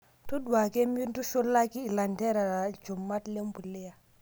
Todua ake mintushulaki ilanterera ilchumat lempuliya.